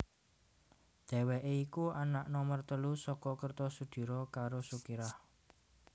Dhèwèké iku anak nomer telu saka Kertosudiro karo Sukirah